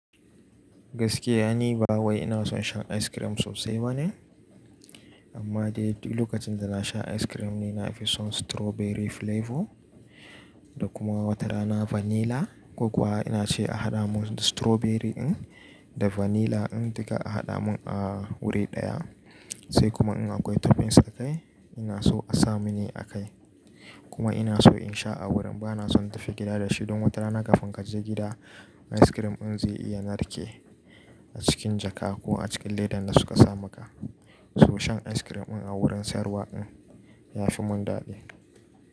Gaskiya ni ba wai ina son shan ice cream sosai bane, amma dai duk lokacin da na sha ice cream ni na fi son strawberry flavor da kuma watarana vanilla. Ko kuwa ina ce a haɗa mun strawberry ɗin da vanilla ɗin duka a haɗa mun a wuri ɗaya. Sai kuma in akwai toppings akai, ina so a sa mini akai. Kuma ina so in sha a wurin. Ba na son tafi gida da shi don watarana kafin ka je gida ice cream ɗin zai iya narke a cikin jaka ko a cikin leɗan da suka sa maka. So shan ice cream ɗin a wurin sayarwa ɗin ya fi mun dadi.